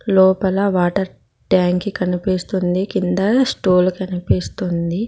లోపల వాటర్ ట్యాంకి కనిపిస్తుంది కింద స్టూల్ కనిపిస్తుంది.